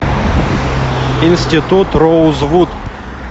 институт роузвуд